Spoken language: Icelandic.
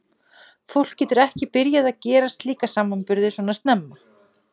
Fólk getur ekki byrjað að gera slíka samanburði svona snemma.